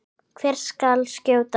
Hvert skal skjóta?